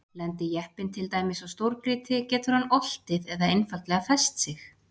lendi jeppinn til dæmis á stórgrýti getur hann oltið eða einfaldlega fest sig